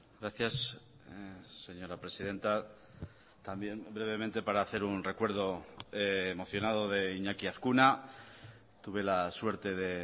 gracias señora presidenta también brevemente para hacer un recuerdo emocionado de iñaki azkuna tuve la suerte de